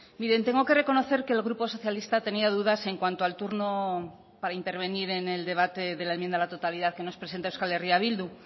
miren tengo que reconocer que el grupo socialista tenía dudas en cuanto al turno para intervenir en el debate de la enmienda a la totalidad que nos presenta euskal herria bildu